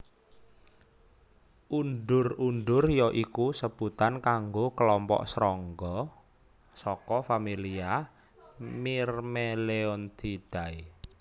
Undur undur ya iku sebutan kanggo klompok srangga saka familia Myrmeleontidae